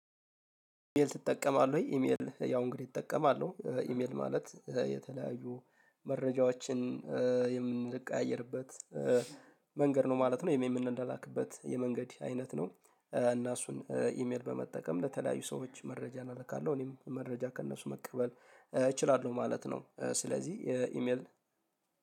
ኢሜል ትጠቀማለህ ወይ? ኢሜል ያው እንግዲህ እጠቀማለሁ ኢሜል ማለት የተለያዩ መረጃዎችን የምንለቀያየርበት መንገድ ነው ማለት ነው። የምን እንደላክበት የመንገድ አይነት ነው። እና እሱን ኢሜል በመጠቀም ለተለያዩ ሰዎች መረጃ እናደርጋለሁ እኔም መረጃ ከእነሱ መቀበል እችላለሁ ማለት ነው። ስለዚህ ኢሜል